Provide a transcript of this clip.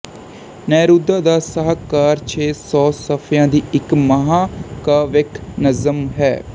Neruda ਦਾ ਸ਼ਾਹਕਾਰ ਛੇ ਸੌ ਸਫ਼ਿਆਂ ਦੀ ਇੱਕ ਮਹਾਕਾਵਿਕ ਨਜ਼ਮ ਹੈ